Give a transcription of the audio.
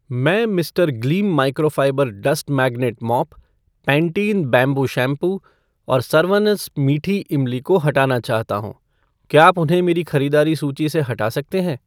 मैं Mr Gleam microfibre dust magnet mop , Pantene bamboo shampoo और सरवनस मीठी इमली को हटाना चाहता हूँ , क्या आप उन्हें मेरी ख़रीदारी सूची से हटा सकते हैं?